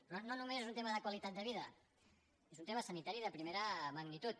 però no només és un tema de qualitat de vida és un tema sanitari de primera magnitud